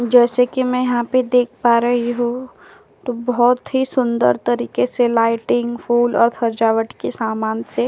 जैसा कि मैं यहाँ पर देख पा रही हूं तो बोहोत ही सुंदर तरीके से लाइटिंग फूल और सजावट के समान से --